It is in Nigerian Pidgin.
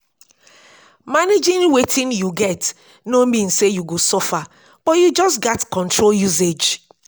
managing wetin yu get no mean say yu go suffer but yu just gats control usage